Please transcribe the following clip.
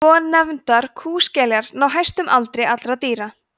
svonefndar kúskeljar ná hæstum aldri allra dýra